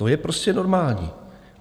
To je prostě normální.